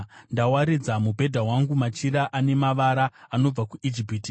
Ndawaridza mubhedha wangu machira ane mavara, anobva kuIjipiti.